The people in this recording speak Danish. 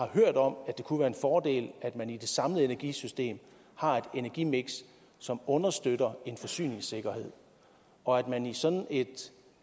hørt om at det kunne være en fordel at man i det samlede energisystem har et energimiks som understøtter en forsyningssikkerhed og at man i sådan et